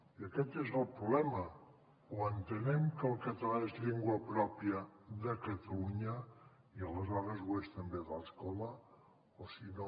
i aquest és el problema o entenem que el català és llengua pròpia de catalunya i aleshores ho és també de l’escola o si no